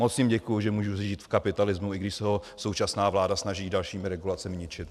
Moc jim děkuju, že můžu žít v kapitalismu, i když se ho současná vláda snaží dalšími regulacemi ničit.